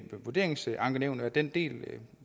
vurderingsankenævnet den del